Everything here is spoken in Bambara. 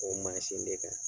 O mansin de kan